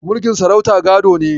Mulkin sarauta gado ne.